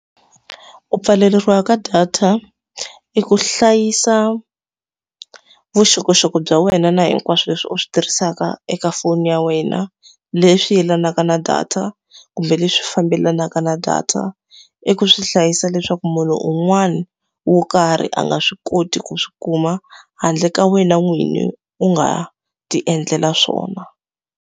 Ku pfaleriwa ka data i ku hlayisa vuxokoxoko bya wena na hinkwaswo leswi u swi tirhisaka eka foni ya wena, leswi yelanaka na data kumbe leswi fambelanaka na data. I ku swi hlayisa leswaku munhu un'wana wo karhi a nga swi koti ku swi kuma, handle ka wena n'winyi u nga ti endlela swona.